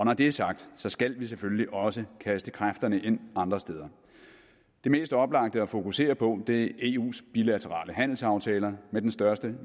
når det er sagt skal vi selvfølgelig også kaste kræfterne ind andre steder det mest oplagte at fokusere på er eus bilaterale handelsaftaler med de største